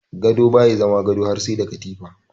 Gado baya zama gado har sai da katifa.